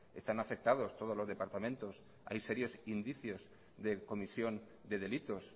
están afectados todos los departamentos hay serios indicios de comisión de delitos